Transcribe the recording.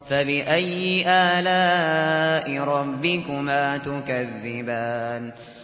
فَبِأَيِّ آلَاءِ رَبِّكُمَا تُكَذِّبَانِ